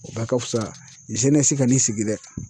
O bɛɛ ka fusa ka nin sigi dɛ.